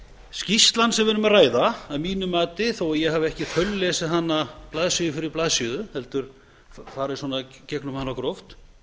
skýrslan sem við erum að ræða að mínu mati þó ég hafi ekki þaullesið hana blaðsíðu fyrir blaðsíðu heldur farið í gegnum hana gróft